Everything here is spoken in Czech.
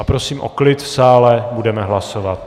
A prosím o klid v sále, budeme hlasovat.